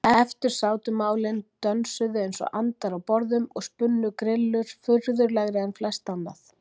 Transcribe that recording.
Eftir sátu málin, dönsuðu einsog andar á borðum og spunnu grillur, furðulegri en flest annað.